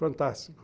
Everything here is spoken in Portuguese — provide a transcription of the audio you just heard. Fantástico.